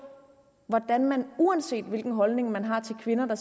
hvordan man uanset hvilken holdning man har til kvinder der